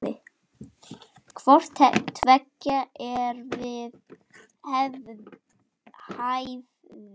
Hvort tveggja er við hæfi.